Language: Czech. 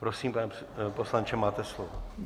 Prosím, pane poslanče, máte slovo.